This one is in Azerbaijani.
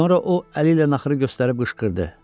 Sonra o əli ilə naxırı göstərib qışqırdı.